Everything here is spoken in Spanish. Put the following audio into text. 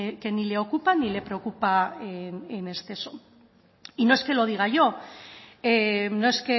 que ni le ocupa ni le preocupa en exceso y no es